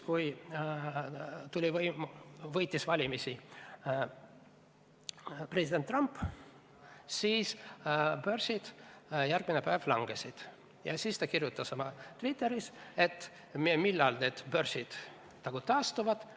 Kui valimised võitis president Donald Trump, siis järgmisel päeval börsid langesid ja Krugman kirjutas Twitteris: "Millal need börsid taastuvad?